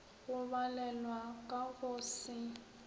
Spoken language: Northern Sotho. go balelwa ka go se